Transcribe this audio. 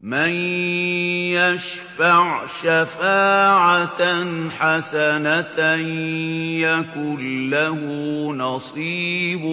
مَّن يَشْفَعْ شَفَاعَةً حَسَنَةً يَكُن لَّهُ نَصِيبٌ